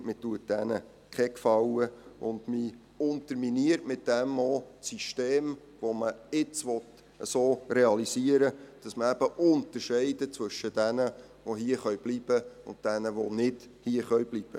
Man tut ihnen keinen Gefallen, und man unterminiert damit auch das System, das man jetzt so realisieren will, dass man eben zwischen jenen unterscheidet, die hierbleiben können, und jenen, die nicht hierbleiben können.